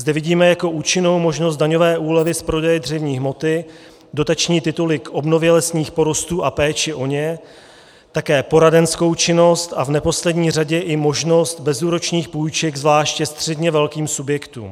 Zde vidíme jako účinnou možnost daňové úlevy z prodeje dřevní hmoty, dotační tituly k obnově lesních porostů a péči o ně, také poradenskou činnost a v neposlední řadě i možnost bezúročných půjček zvláště středně velkým subjektům.